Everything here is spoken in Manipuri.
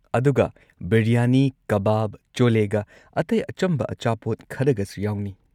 ꯑꯗꯨꯒ, ꯕꯤꯔꯌꯥꯅꯤ, ꯀꯕꯥꯕ, ꯆꯣꯂꯦꯒ ꯑꯇꯩ ꯑꯆꯝꯕ ꯑꯆꯥꯄꯣꯠ ꯈꯔꯒꯁꯨ ꯌꯥꯎꯅꯤ꯫